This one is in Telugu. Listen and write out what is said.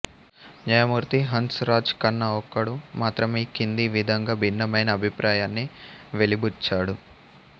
న్యాయమూర్తి హన్స్ రాజ్ ఖన్నా ఒక్కడు మాత్రమే ఈ కింది విధంగా భిన్నమైన అభిప్రాయాన్ని వెలిబుచ్చాడు